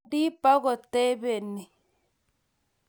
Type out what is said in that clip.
Pendi pokotabeni